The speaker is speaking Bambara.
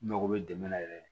N mago bɛ dɛmɛ na yɛrɛ